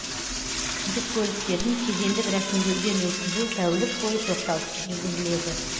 жүк көліктерін кедендік рәсімдеуден өткізу тәулік бойы тоқтаусыз жүргізіледі